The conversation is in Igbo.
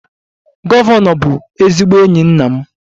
Gọvanọ bụ ezigbo enyi nna m